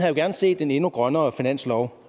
jo gerne set en endnu grønnere finanslov